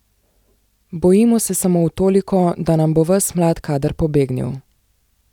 Bojimo se samo v toliko, da nam bo ves mlad kader pobegnil.